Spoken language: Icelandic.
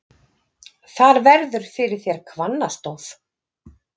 Þar verður fyrir þér hvannastóð.